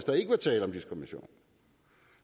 der ikke er tale om diskrimination